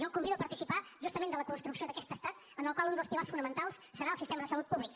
jo el convido a participar justament de la construcció d’aquest estat en el qual un dels pilars fonamentals serà el sistema de salut públic